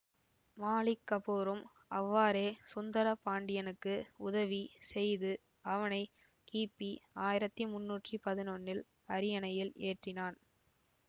மாலிக் கபூரும் அவ்வாறே சுந்தர பாண்டியனுக்கு உதவி செய்து அவனை கிபி ஆயிரத்தி முன்னூற்றி பதினொன்னில் அரியணையில் ஏற்றினான்